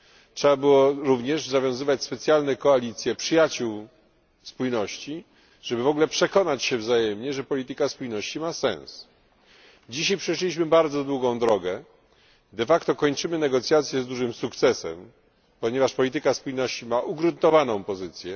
Trzeba było również zawiązywać specjalne koalicje przyjaciół spójności, żeby przekonać się wzajemnie, że polityka ta ma sens. Dzisiaj przeszliśmy bardzo długą drogę, de facto kończymy negocjacje z dużym sukcesem, ponieważ polityka spójności ma ugruntowaną pozycję.